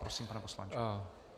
Prosím, pane poslanče.